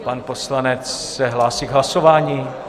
Pan poslanec se hlásí k hlasování?